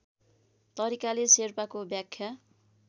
तरिकाले शेर्पाको व्याख्या